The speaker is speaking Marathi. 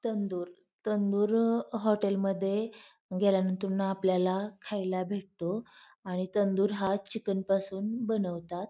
तंदूर तंदूर हॉटेल मध्ये गेल्यातून आपल्याला खायला भेटतो आणि तंदूर हा चिकन पासून बनवतात.